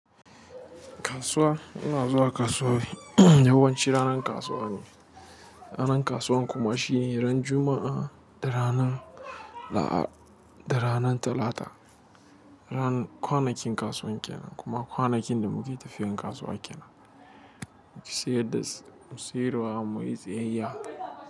Kasuwa, ina zuwa kasuwa yawanci ranar kasuwa ne. Ranar kasuwan kuma shine ran Juma'a da ranan Talata. Ran kwanakin kasuwan kenan kuma kwanakin da muke tafiyan kasuwa kenan. Mu siyar da siyarwa, mu yi siyayya.